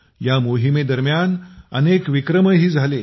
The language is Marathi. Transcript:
या मोहिमेदरम्यान अनेक विक्रमही झाले